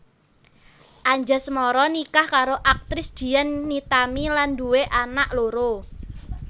Anjasmara nikah karo aktris Dian Nitami lan nduwé anak loro